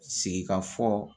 Sigikafɔ